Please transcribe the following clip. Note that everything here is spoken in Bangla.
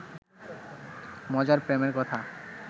মজার প্রেমের কথা